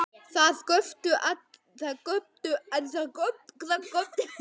Það göptu allir, þeir mest.